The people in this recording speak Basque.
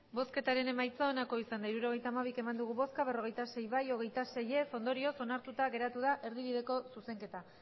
hirurogeita hamabi eman dugu bozka berrogeita sei bai hogeita sei ez ondorioz onartuta geratu da erdibideko zuzenketa